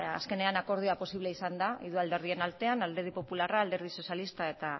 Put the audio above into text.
azkenean akordioa posiblea izan da hiru alderdien artean alderdi popularra alderdi sozialista eta